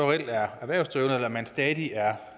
reelt er erhvervsdrivende eller man stadig er